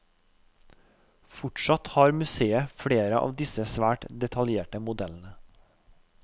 Fortsatt har museet flere av disse svært detaljerte modellene.